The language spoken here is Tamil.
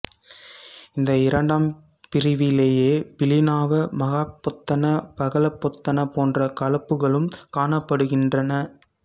இந்த இரண்டாம் பிரிவிலேயே பிலின்னாவ மகாபொத்தன பகலபொத்தன போன்ற களப்புக்களும் காணப்படுகின்றன